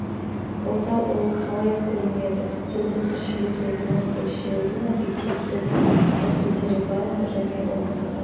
болса ол қалай көрінеді тілдің тіршілік етуін өлшеудің объективтік тәсілдері бар ма және оны қазақ